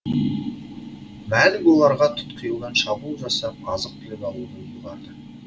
мәлік оларға тұтқиылдан шабуыл жасап азық түлік алуды ұйғарды